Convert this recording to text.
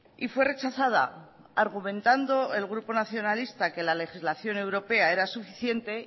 y fue rechazada argumentando el grupo nacionalista que la legislación europea era suficiente